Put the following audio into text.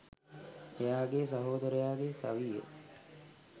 එයාගේ සහෝදරයාගේ සවිය